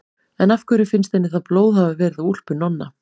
En af hverju finnst henni þá blóð hafa verið á úlpu Nonna?